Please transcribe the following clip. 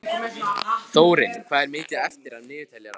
Þórinn, hvað er mikið eftir af niðurteljaranum?